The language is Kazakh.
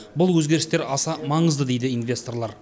бұл өзгерістер аса маңызды дейді инвесторлар